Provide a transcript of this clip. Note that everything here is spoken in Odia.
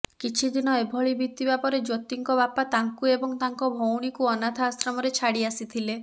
କିଛି ଦିନ ଏଭଳି ବିତିବା ପରେ ଜ୍ୟୋତିଙ୍କ ବାପା ତାଙ୍କୁ ଏବଂ ତାଙ୍କ ଭଉଣୀକୁ ଅନାଥଆଶ୍ରମରେ ଛାଡ଼ି ଆସିଥିଲେ